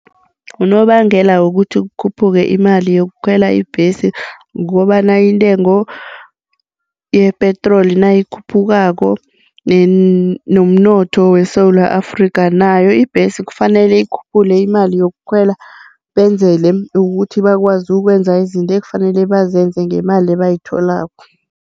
Unobangela wokuthi kukhuphuke imali yokukhwela ibhesi kukobana intengo yepetroli nayikhuphukako nommnotho weSewula Afrika nayo ibhesi kufanele ikhuphule imali yokukhwela benzele ukuthi bakwazi ukwenza izinto ekufanele bazenze ngemali ebayitholako.